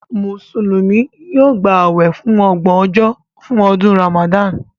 Mùsùlùmí yóò gbà awẹ fun ọgbọn ojo fún ọdún Ramadan